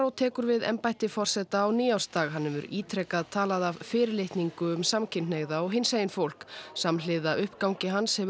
tekur við embætti forseta á nýársdag hann hefur ítrekað talað af fyrirlitningu um samkynhneigða og hinsegin fólk samhliða uppgangi hans hefur